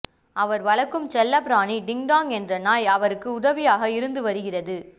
அவர் வளர்க்கும் செல்ல பிராணி டிக்காங் என்ற நாய் அவருக்கு உதவியாக இருந்து வருகிறது